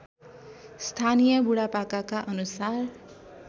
स्थानीय बुढापाकाका अनुसार